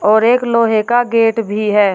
और एक लोहे का गेट भी है।